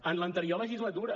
en l’anterior legislatura